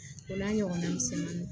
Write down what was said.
O n'a ɲɔgɔnna misɛnninw